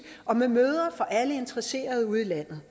og med møder for alle interesserede ude i landet